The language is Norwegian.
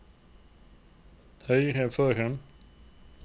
høyre foran